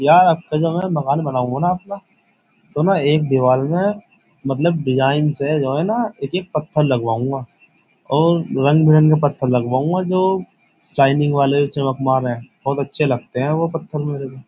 यार अब के जो मैं मकान बनाऊंगा ना अपना तो मैं एक दीवाल में मतलब डिज़ाइन से जो है न एक एक पत्थर लगवाऊंगा और रंग बिरंगे पत्थर लगवाऊँगा जो शाइनिंग वाले चमकमार है। बहुत अच्छे लगते है वो पत्थर मेरे को।